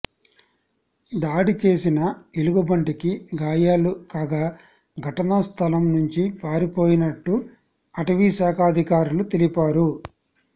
దాడిచేసిన ఎలుగుబంటికి గాయాలు కాగా ఘటనా స్థలం నుంచి పారిపోయినట్టు అటవీశాఖాధికారులు తెలిపారు